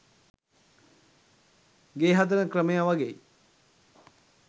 ගේ හදන ක්‍රමය වගෙයි.